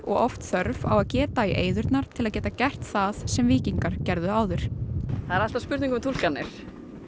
oft þörf á að geta í eyðurnar til þess að geta gert það sem víkingar gerðu áður það er alltaf spurning um túlkanir